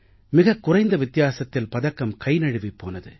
மிகக் குறைந்த வித்தியாசத்தில் பதக்கம் கைநழுவிப் போனது